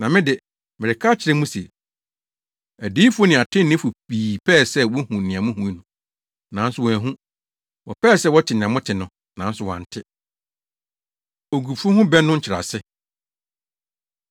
Na me de, mereka akyerɛ mo se, adiyifo ne atreneefo pii pɛɛ sɛ wohu nea muhu no, nanso wɔanhu. Wɔpɛɛ sɛ wɔte nea mote no, nanso wɔante. Ogufo Ho Bɛ No Nkyerɛase